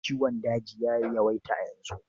Ciwon daji ya yawaita a yanzu.